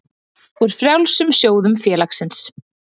úr frjálsum sjóðum félagsins.